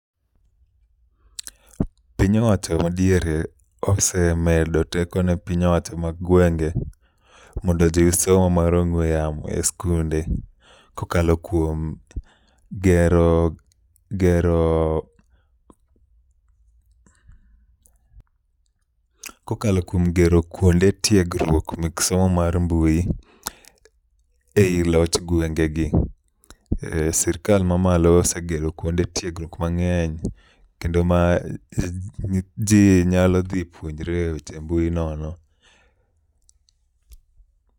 Piny owacho madiere osemedo teko ne piny owacho mag gwenge mondo ojiwo somo mar ong'we yamo e skunde kokalo kuom gero kuonde tiegruok mek somo mar mbui e i loch gwengegi e sirkal mamalo osegero kuonde tiegruok mang'eny kendo ma ji nyalodhi puonjre weche mbui nono.